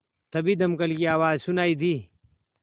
तभी दमकल की आवाज़ सुनाई दी